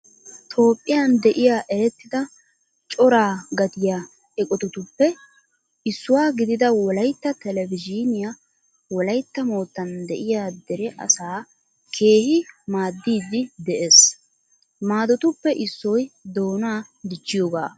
Toophphiyaan de'iyaa erettida coraa gattiya eqotatuppe issuwaa gidida Wolaytta televizhiinee Wolaytta moottan de'iyaa deree asaa keehi maaddiiddi de'ees. Maadotuppe issoy doonaa dichchiyogaa.